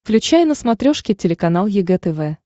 включай на смотрешке телеканал егэ тв